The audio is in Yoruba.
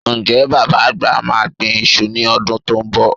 Ǹjẹ́́ Bàbá àgbà máa gbin iṣu ní ọdún tó ń bọ̀?